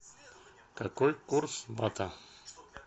какой курс бата